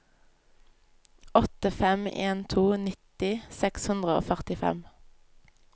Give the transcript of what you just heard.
åtte fem en to nitti seks hundre og førtifem